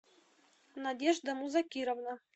надежда музакировна